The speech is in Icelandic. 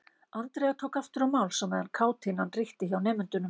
Andrea tók aftur til máls á meðan kátínan ríkti hjá nemendunum.